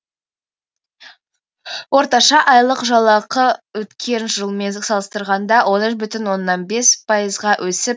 орташа айлық жалақы өткен жылмен салыстырғанда он үш бүтін оннан бес пайызға өсіп